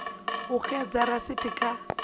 u o ekedza risithi kha